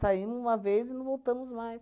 Saímo uma vez e não voltamos mais.